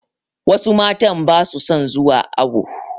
Wasu matan ba su son zuwa awo.